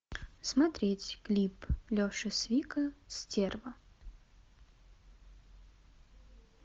смотреть клип леши свика стерва